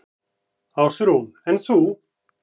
Ásrún: En þú?